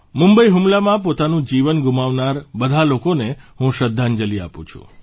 મુંબઇ હુમલામાં પોતાનું જીવન ગુમાવનાર બધા લોકોને હું શ્રદ્ધાંજલિ આપું છું